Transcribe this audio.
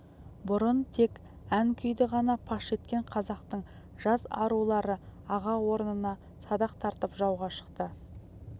бұрын тек ән-күйді ғана паш еткен қазақтың жас арулары аға орнына садақ тартып жауға шықты